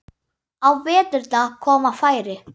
Á veturna koma færri.